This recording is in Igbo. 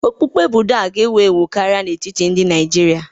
Okpukpe Buda ga-ewu ewu karịa n'etiti ndị Naijiria.